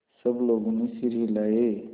सब लोगों ने सिर हिलाए